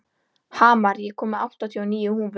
Hamar, ég kom með áttatíu og níu húfur!